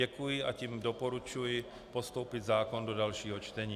Děkuji, a tím doporučuji postoupit zákon do dalšího čtení.